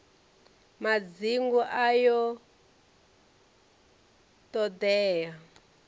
madzingu ayo t hod ea